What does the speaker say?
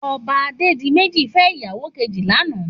Òbá Adedimeji fè iyàwó kéji làná